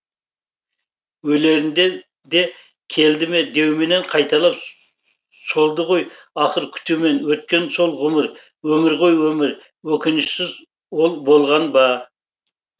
өлерінде де келді ме деумен қайталап солды ғой ақыр күтумен өткен сол ғұмыр өмір ғой өмір өкінішсіз ол болған ба